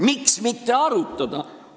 Miks mitte arutada?